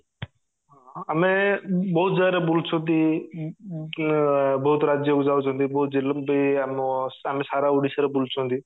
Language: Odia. ଆମେ ବହୁତ ଜାଗାରେ ବୁଲୁଛନ୍ତି ଉଁ ଆ ବହୁତ ରାଜ୍ୟ କୁ ଯାଉଛନ୍ତି ବହୁତ ଜିଲ୍ଲା ଆମେ ସାରା ଓଡିଶା ରେ ବୁଲୁଛନ୍ତି